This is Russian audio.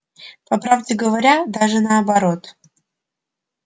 по правде говоря даже наоборот